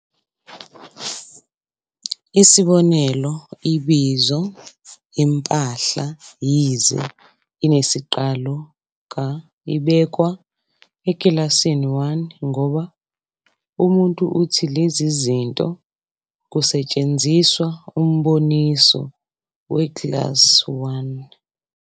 Isibonelo, ibizo 'impahla', yize "inesiqalo ka-", ibekwa ekilasini 1, ngoba umuntu uthi 'lezi zinto' kusetshenziswa umboniso we-class 1